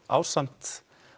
ásamt